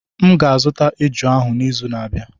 M ga-azụta eju ahụ n'izu na-abịa.